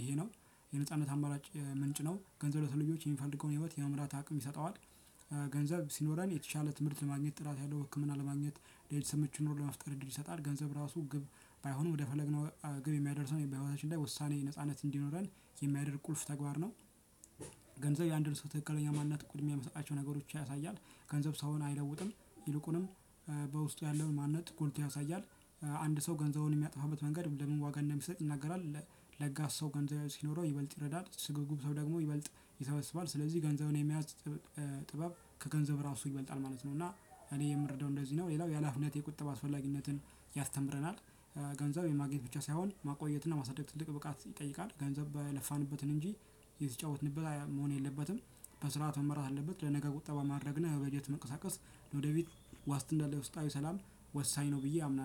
ይሄ ነው። የነጻነት አማራጭ ምንጭ ነው ገንዘብ ለሰው ልጆች የሚፈልገውን ህይወት የመምራት አቅም ይሰጠዋል። ገንዘብ ሲኖረን የተሻለ ትምህርት ለማግኘት ጥራት ያለው ህክምና ለማግኘት ለቤተሰብ ምቹ ኑሮ ለመፍጠር እድል ይሰጣል። ገንዘብ ራሱ ግብ ባይሆንም ወደ ፈለግነው ግብ የሚያደርሰን በህይወታችን ላይ ውሳኔ ነጻነት እንዲኖረን የሚያደርግ ቁልፍ ተግባር ነው። ገንዘብ የአንድን ሰው ትክክለኛ ማንነት ቅድሚያ የሚሰጣቸው ነገሮች ያሳያል። ገንዘብ ሰውን አይለውጥም። ይልቁንም በውስጡ ያለውን ማንነት ጎልቶ ያሳያል። አንድ ሰው ገንዘቡን የሚያጠፋበት መንገድ ለምን ዋጋ እንደሚሰጥ ይናገራል። ለጋስ ሰው ገንዘብ ሲኖረው ይበልጥ ይረዳል። ስግብግብ ሰው ደግሞ ይበልጥ ይሰበስባል። ስለዚህ ገንዘብን የመያዝ ጥበብ ከገንዘብ እራሱ ይበልጣል ማለት ነው። እና እኔ የምረዳው እንደዚህ ነው። ሌላው የሀላፊነት የቁጠባ አስፈላጊነትን ያስተምረናል። ገንዘብ የማግኘት ብቻ ሳይሆን ማቆየትና ማሳደግ ትልቅ ብቃት ይጠይቃል። ገንዘብ የለፋንበትን እንጂ የተጫወትንበት መሆን የለበትም። በስርዓት መመራት አለበት። ለነገ ቁጠባ ማድረግ እና በበጀት መንቀሳቀስ ለወደፊት ዋስትና እና ለውስጣዊ ሰላም ወሳኝ ነው ብዬ አምናለሁ